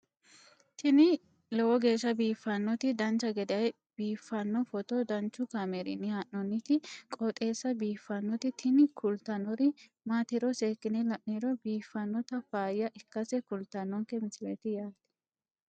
tini lowo geeshsha biiffannoti dancha gede biiffanno footo danchu kaameerinni haa'noonniti qooxeessa biiffannoti tini kultannori maatiro seekkine la'niro biiffannota faayya ikkase kultannoke misileeti yaate